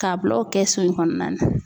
K'a bila o kɛsu in kɔnɔna na.